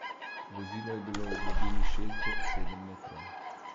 Vozilo je bilo v globini šest do sedem metrov.